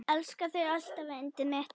Elska þig alltaf yndið mitt.